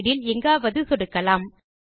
slide இல் எங்காவது சொடுக்கலாம்